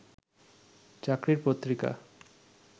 চাকরির পত্রিকা